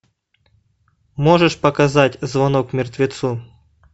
можешь показать звонок мертвецу